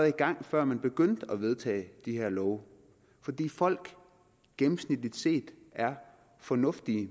i gang før man begyndte at vedtage de her love fordi folk gennemsnitligt set er fornuftige